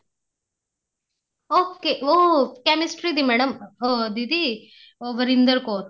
okay ਉਹ chemistry ਦੀ madam ਅਹ ਦੀਦੀ ਉਹ ਵਰਿੰਦਰ ਕੋਰ